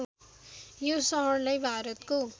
यो सहरलाई भारतको